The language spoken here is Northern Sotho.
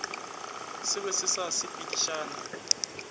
se be se sa sepedišane